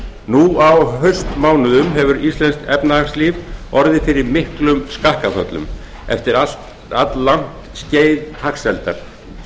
nú á haustmánuðum hefur íslenskt efnahagslíf orðið fyrir miklum skakkaföllum eftir alllangt skeið hagsældar